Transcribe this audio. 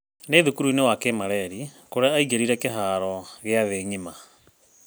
Ni thukuruinĩ wa Kimareri kũrĩa aingĩrĩire kiharo gĩa thĩĩ ngima.